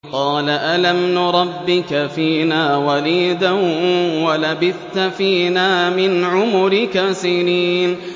قَالَ أَلَمْ نُرَبِّكَ فِينَا وَلِيدًا وَلَبِثْتَ فِينَا مِنْ عُمُرِكَ سِنِينَ